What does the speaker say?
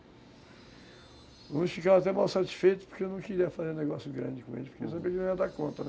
Alguns ficavam até mal satisfeitos porque eu não queria fazer negócio grande com eles, porque eu sabia que não ia dar conta, né?